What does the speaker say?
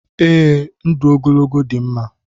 Ee, ndụ ogologo dị mma